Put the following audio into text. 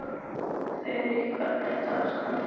Þurí, hvernig er dagskráin í dag?